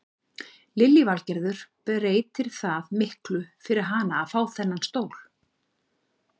Lillý Valgerður: Breytir það miklu fyrir hana að fá þennan stól?